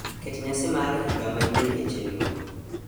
Ket nyasi maar higa manyien e chenro.